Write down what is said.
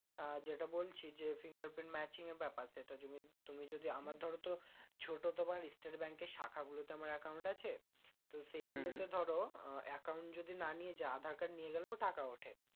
আহ যেটা বলছি যে finger print matching এর ব্যাপার সেটা জিনিস তুমি যদি আমার ধরো তো ছোট তোমার state bank এর শাখা গুলো তে আমার account আছে তো সেই গুলোতে ধরো আহ account যদি না নিয়ে যাও আধার card নিয়ে গেলেও টাকা ওঠে